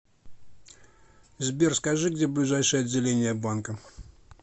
сбер скажи где ближайшее отделение банка